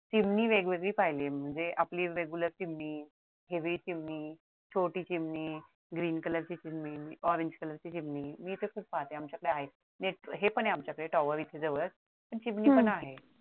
चिमणी वेगवेगळी पाहिलेय म्हणजे आपली regular चिमणी हेवाई चिमणी छोटी चिमणी green color ची चिमणी orange color ची चिमणी मी तर खूप पाहते आमच्याकडे आहेत हे पण खूप जवळ आहे आमच्या इथे tower इथे जवळ आहेत पण चिमणी पण आहे.